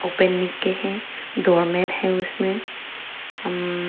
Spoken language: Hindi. ओपेन निक्के है डोर मेड उसमें अम--